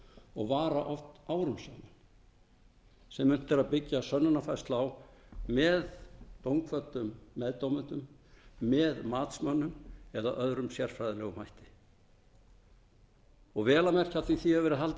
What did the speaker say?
og vara oft árum saman sem unnt er að byggja sönnunarfællsu á með dómkvöddum meðdómendum með matsmönnum eða öðrum sérfræðilegum hætti sérfræðilegum hætti vel að merkja af því að því hefur verið haldið